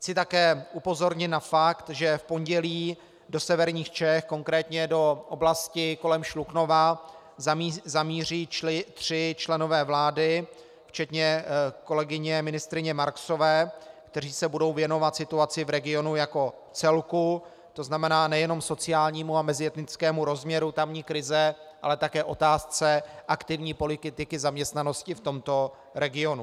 Chci také upozornit na fakt, že v pondělí do severních Čech, konkrétně do oblasti kolem Šluknova, zamíří tři členové vlády včetně kolegyně ministryně Marksové, kteří se budou věnovat situaci v regionu jako celku, to znamená nejenom sociálnímu a mezietnickému rozměru tamní krize, ale také otázce aktivní politiky zaměstnanosti v tomto regionu.